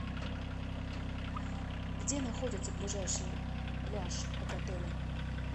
где находится ближайший пляж от отеля